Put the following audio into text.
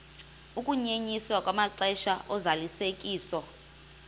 ukunyenyiswa kwamaxesha ozalisekiso